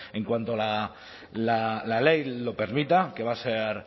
en cuanto la ley lo permita que va a ser